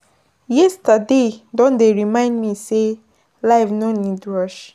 Yesterday don dey remind me sey life no need rush.